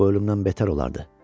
Bu ölümdən betər olardı.